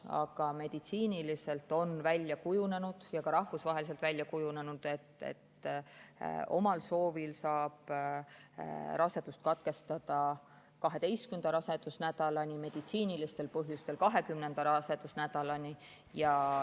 Aga meditsiiniliselt on välja kujunenud ja ka rahvusvaheliselt välja kujunenud, et omal soovil saab rasedust katkestada 12. rasedusnädalani, meditsiinilistel põhjustel 20. rasedusnädalani.